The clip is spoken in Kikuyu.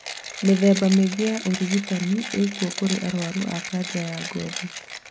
mĩthemba mĩingĩ ya ũrigitani ĩkuo kũrĩ arwaru a kanja ya ngothi